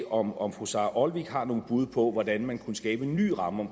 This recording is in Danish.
om om fru sara olsvig har nogle bud på hvordan man kunne skabe en ny ramme